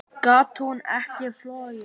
Gat hún ekki flogið?